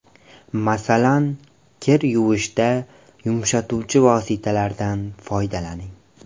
Masalan, kir yuvishda yumshatuvchi vositalardan foydalaning.